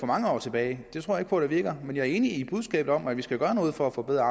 mange år tilbage det tror jeg ikke på virker jeg er enig i budskabet om at vi skal gøre noget for at forbedre